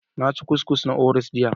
Na ci kukis na Oreos jiya